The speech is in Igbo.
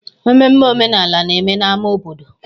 Mmemme omenala na-eme n'ámá obodo.